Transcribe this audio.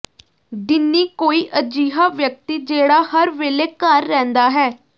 ਡਿੰਨੀ ਕੋਈ ਅਜਿਹਾ ਵਿਅਕਤੀ ਜਿਹੜਾ ਹਰ ਵੇਲੇ ਘਰ ਰਹਿੰਦਾ ਹੈ